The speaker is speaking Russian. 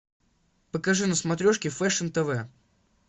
покажи на смотрешке фэшн тв